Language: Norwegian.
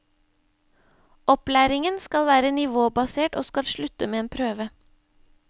Opplæringen skal være nivåbasert og skal slutte med en prøve.